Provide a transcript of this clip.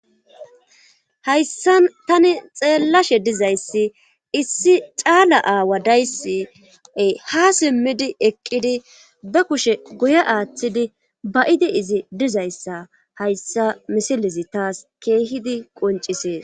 hayssa tani xeellashe dizayssi issi caala aawa dayssi ha simmidi eqqidi be kushe guye aaththidi ba7idi izi dizayssa hayssa misilezi taas keehidi qoncisees.